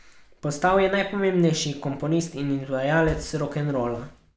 Postal je najpomembnejši komponist in izvajalec rokenrola.